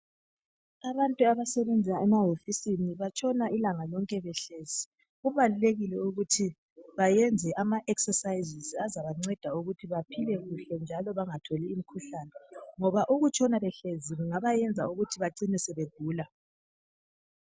Abantu abasebenza emahofisini batshona ilanga lonke behlezi. Kubalulekile ukuthi bayenze ama exercises azabanceda ukuthi baphile kuhle njalo bangatholi imkhuhlane. Ngona ukutshona behlezi kungabayenza ukuthi bacine sebegula.